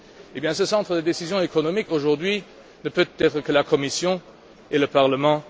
Et bien, ce centre de décision économique, aujourd'hui, ne peut être que la Commission et le Parlement.